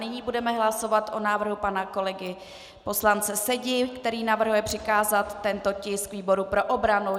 Nyní budeme hlasovat o návrhu pana kolegy poslance Sedi, který navrhuje přikázat tento tisk výboru pro obranu.